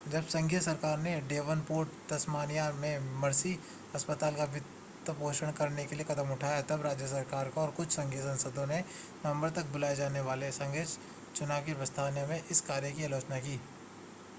जब संघीय सरकार ने डेवोनपोर्ट तस्मानिया में मर्सी अस्पताल का वित्तपोषण करने के लिए कदम उठाया तब राज्य सरकार और कुछ संघीय सांसदों ने नवंबर तक बुलाए जाने वाले संघीय चुनाव की प्रस्तावना में इस कार्य की आलोचना की